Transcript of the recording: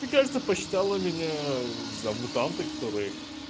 ты кажется посчитала меня за мутанта который